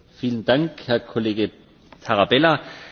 Vielen Dank, Herr Kollege Tarabella!